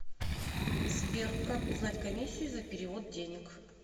сбер как узнать комиссию за перевод денег